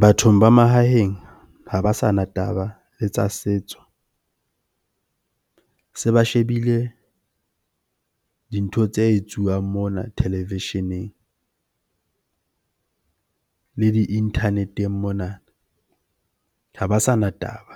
Bathong ba mahaheng ha ba sana taba le tsa setso. Se ba shebile dintho tse etsuwang mona televisheneng le di-internet-eng mona ha ba sana taba